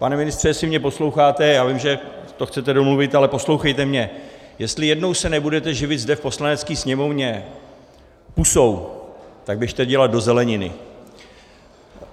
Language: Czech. Pane ministře, jestli mě posloucháte, já vím, že to chcete domluvit, ale poslouchejte mě: Jestli jednou se nebudete živit zde v Poslanecké sněmovně pusou, tak běžte dělat do zeleniny!